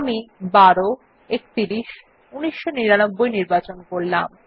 আমি ১২ ৩১ ১৯৯৯ নির্বাচন করলাম